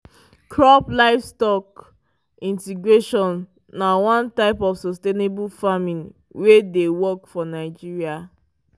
crop livestock integration na one type of sustainable farming wey dey work for nigeria